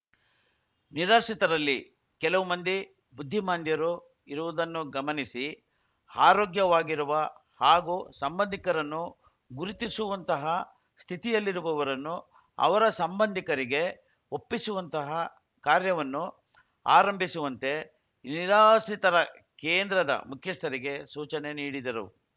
ನಿರಾಶ್ರಿತರಲ್ಲಿ ಕೆಲವು ಮಂದಿ ಬುದ್ದಿಮಾಂಧ್ಯರು ಇರುವುದನ್ನು ಗಮನಿಸಿ ಆರೋಗ್ಯವಾಗಿರುವ ಹಾಗೂ ಸಂಬಂಧಿಕರನ್ನು ಗುರುತಿಸುವಂತಹ ಸ್ಥಿತಿಯಲ್ಲಿರುವವರನ್ನು ಅವರ ಸಂಬಂಧಿಕರಿಗೆ ಒಪ್ಪಿಸುವಂತಹ ಕಾರ್ಯವನ್ನು ಆರಂಭಿಸುವಂತೆ ನಿರಾಶ್ರಿತರ ಕೇಂದ್ರದ ಮುಖ್ಯಸ್ಥರಿಗೆ ಸೂಚನೆ ನೀಡಿದರು